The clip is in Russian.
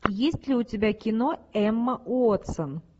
есть ли у тебя кино эмма уотсон